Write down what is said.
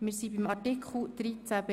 Wir kommen zu Artikel 13b (neu).